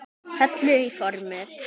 Hellið í formið.